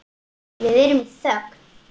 Við erum í þögn.